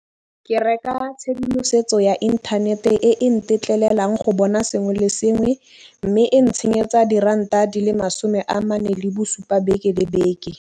Ke reka tshedimosetso ya inthanete e e ntetlelelang go bona sengwe le sengwe, mme e ntshenyetsa diranta di le masome a mane le bosupa beke le beke.